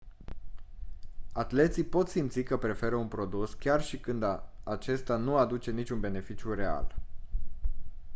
atleții pot simți că preferă un produs chiar și când acesta nu aduce niciun beneficiu real